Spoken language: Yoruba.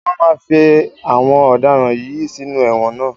Wọ́n máa fí àwọn ọ̀daràn yìí sínú ẹ̀wọ̀n ná.